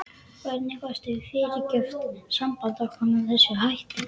Hvernig gastu fyrirgert sambandi okkar með þessum hætti?